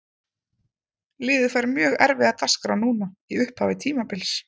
Liðið fær mjög erfiða dagskrá núna í upphafi tímabils.